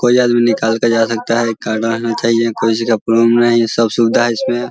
कोई आदमी निकाल के जा सकता है आई.कार्ड. रहना चाहिए कोई चीज का प्रोब्लम नहीं सब सुविधा है इसमें ।